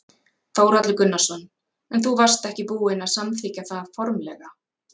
Þórhallur Gunnarsson: En þú varst ekki búin að samþykkja það formlega?